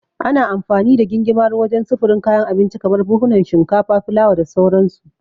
Ana amfani da gingimari wajen sufurin kayan abinci kamar buhunan shinkafa, fulawa da sauransu.